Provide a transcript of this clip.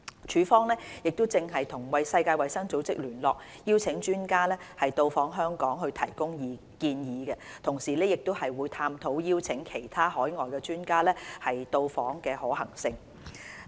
署方正與世衞聯絡，邀請專家到訪香港及提供建議，同時亦探討邀請其他海外專家到訪的可行性。